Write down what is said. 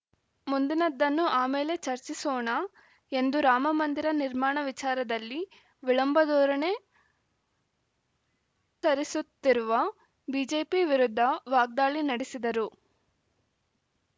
ಮುಂದಿನದ್ದನ್ನು ಆಮೇಲೆ ಚರ್ಚಿಸೋಣ ಎಂದು ರಾಮಮಂದಿರ ನಿರ್ಮಾಣ ವಿಚಾರದಲ್ಲಿ ವಿಳಂಬ ಧೋರಣೆ ಅನುಸರಿಸುತ್ತಿರುವ ಬಿಜೆಪಿ ವಿರುದ್ಧ ವಾಗ್ದಾಳಿ ನಡೆಸಿದರು